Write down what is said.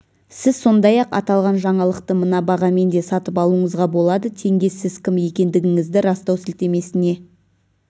сіз сондай-ақ аталған жаңалықты мына бағамен де сатып алуыңызға болады теңге сіз кім екендігіңізді растау сілтемесіне